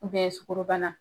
U sukorobana.